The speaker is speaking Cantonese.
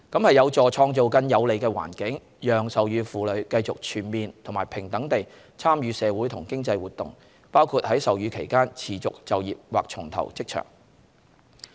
這有助創造更有利的環境，讓授乳婦女繼續全面和平等地參與社會和經濟活動，包括在授乳期間持續就業或重投職場。